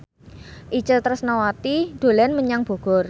Itje Tresnawati dolan menyang Bogor